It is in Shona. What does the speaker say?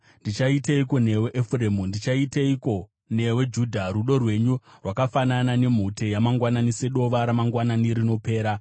“Ndichaiteiko newe, Efuremu? Ndichaiteiko newe, Judha? Rudo rwenyu rwakafanana nemhute yamangwanani, sedova ramangwanani rinopera.